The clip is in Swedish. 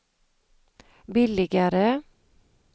billigare